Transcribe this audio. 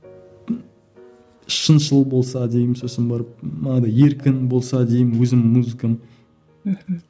шыншыл болса деймін сосын барып манадай еркін болса деймін өзімнің музыкам мхм